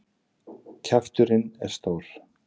Kjafturinn er stór.